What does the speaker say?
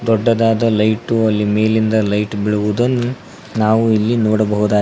ದೊಡ್ಡದಾದ ಲೈಟು ಅಲ್ಲಿ ಮೇಲಿಂದ ಲೈಟ್ ಬೀಳುವುದೊಂದ್ ನಾವು ಇಲ್ಲಿ ನೋಡಬಹುದಾಗ--